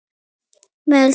Meðal þeirra